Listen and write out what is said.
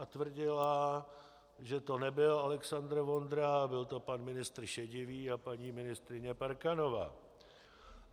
A tvrdila, že to nebyl Alexandr Vondra, byl to pan ministr Šedivý a paní ministryně Parkanová.